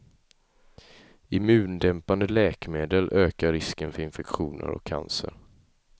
Immundämpande läkemedel ökar risken för infektioner och cancer.